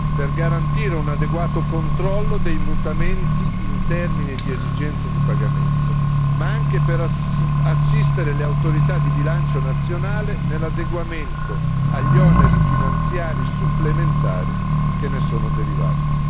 Per garantire un adeguato controllo dei mutamenti in termini di esigenze di pagamento, ma anche per assistere le autorità di bilancio nazionali nell'adeguamento agli oneri finanziari supplementari che ne sono derivati.